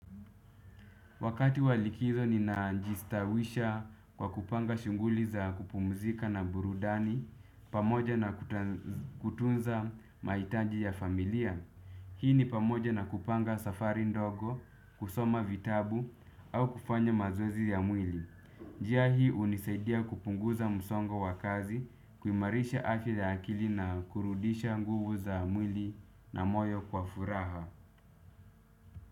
Wakati wa likizo ni najistawisha kwa kupanga shunguli za kupumzika na burudani, pamoja na kutunza maitaji ya familia. Hii ni pamoja na kupanga safari ndogo, kusoma vitabu au kufanya mazoezi ya mwili. Njia hii unisaidia kupunguza msongo wa kazi, kuimarisha afya ya akili na kurudisha nguvu za mwili na moyo kwa furaha.